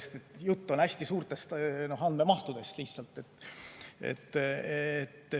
Jutt on lihtsalt hästi suurtest andmemahtudest.